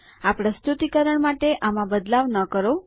આ પ્રસ્તુતિકરણ માટે આમાં બદલાવ ન કરો